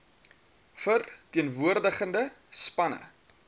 ver teenwoordigende spanne